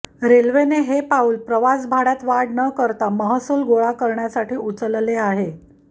रेल्वेने हे पाऊल प्रवासभाड्यात वाढ न करता महसूल गोळा करण्यासाठी उचलले आहे